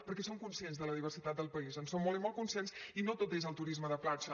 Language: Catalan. perquè som conscients de la diversitat del país en som molt i molt conscients i no tot és el turisme de platja